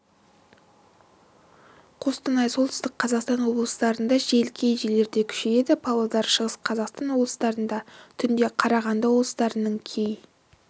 қостанай солтүстік қазақстан облыстарында жел кей жерлерде күшейеді павлодар шығыс қазақстан облыстарында түнде қарағанды облыстарының кей